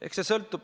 Eks see sõltub.